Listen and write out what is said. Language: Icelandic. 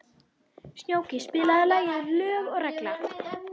Snjóki, spilaðu lagið „Lög og regla“.